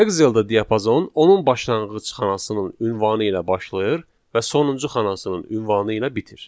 Excel-də diapazon onun başlanğıc xanasının ünvanı ilə başlayır və sonuncu xanasının ünvanı ilə bitir.